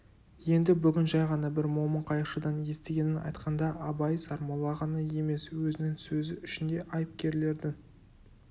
енді бүгін жай ғана бір момын қайықшыдан естігенін айтқанда абай сармолла ғана емес өзінің сөзі үшін де айыпкерлердің